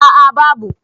a a babu